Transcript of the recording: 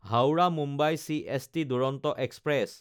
Howrah-Mumbai CST Duronto express